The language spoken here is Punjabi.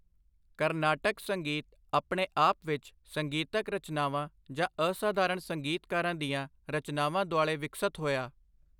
ਕਰਨਾਟਕ ਸੰਗੀਤ ਆਪਣੇ ਆਪ ਵਿੱਚ ਸੰਗੀਤਕ ਰਚਨਾਵਾਂ ਜਾਂ ਅਸਾਧਾਰਣ ਸੰਗੀਤਕਾਰਾਂ ਦੀਆਂ ਰਚਨਾਵਾਂ ਦੁਆਲੇ ਵਿਕਸਤ ਹੋਇਆ।